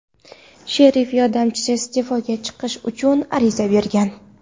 Sherif yordamchisi iste’foga chiqish uchun ariza bergan.